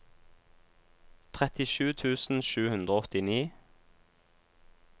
trettisju tusen sju hundre og åttini